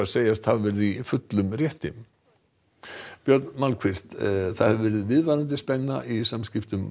segjast hafa verið í fullum rétti björn það hefur verið viðvarandi spenna í samskiptum